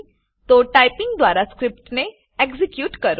તો ટાઈપીંગ દ્વારા સ્ક્રીપ્ટ ને એક્ઝીક્યુટ કરો